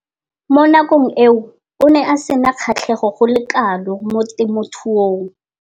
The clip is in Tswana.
Mo nakong eo o ne a sena kgatlhego go le kalo mo temothuong.